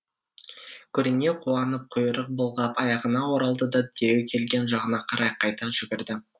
көрінеу қуанып құйрық бұлғап аяғына оралды да дереу келген жағына қарай қайта жүгірді